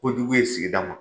Ko jugu ye sigida ma.